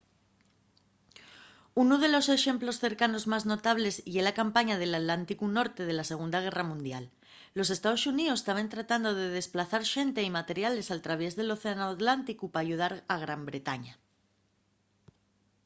unu de los exemplos cercanos más notables ye la campaña del atlánticu norte de la segunda guerra mundial los estaos xuníos taben tratando de desplazar xente y materiales al traviés del océanu atlánticu p'ayudar a gran bretaña